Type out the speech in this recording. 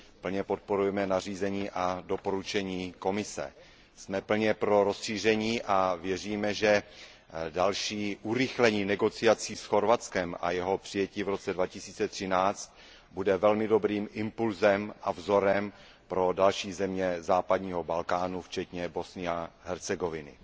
Plně podporujeme nařízení a doporučení Komise. Jsme plně pro rozšíření a věříme, že další urychlení jednání s Chorvatskem a jeho přijetí v roce 2013 bude velmi dobrým impulzem a vzorem pro další země západního Balkánu včetně Bosny a Hercegoviny.